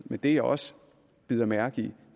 men det jeg også bider mærke i